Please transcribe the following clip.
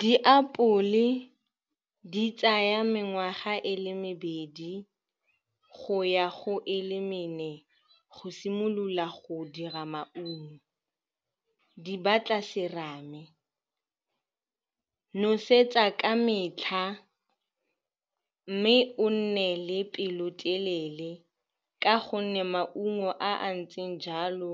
Diapole di tsaya mengwaga e le mebedi go ya go e le mene go simolola go dira maungo. Di batla serame, nosetsa ka metlha, mme o nne le pelotelele ka gonne maungo a a ntseng jalo